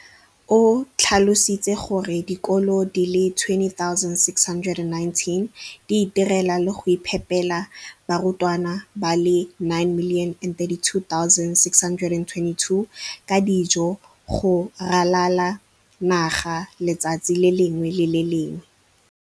o tlhalositse gore dikolo di le 20 619 di itirela le go iphepela barutwana ba le 9 032 622 ka dijo go ralala naga letsatsi le lengwe le le lengwe.